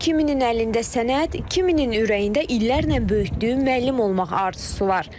2000-in əlində sənət, 2000-in ürəyində illərlə böyütdüyü müəllim olmaq arzusu var.